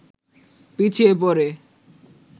পিছিয়ে পড়ে